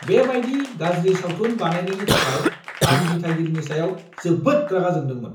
बेबायदि गाज्रि सावथुन बानायनायनि थाखाय आं दिथागिरिनि सायाव जोबोद रागा जोंदोंमोन।